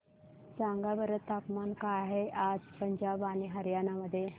सांगा बरं तापमान काय आहे आज पंजाब आणि हरयाणा मध्ये